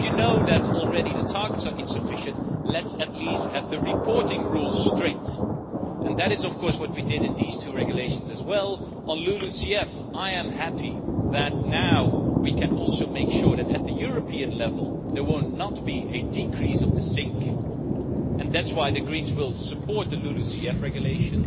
But if we know already that the targets are insufficient, let's at least have the reporting rules straight, and that is what we did in these two regulations as well. On LULUCF I am happy that now we can also make sure that at the European level there will not be a decrease of the sink, and that is why the Greens will support the LULUCF Regulation.